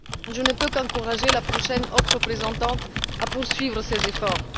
Je ne peux qu'encourager la prochaine haute représentante à poursuivre ces efforts.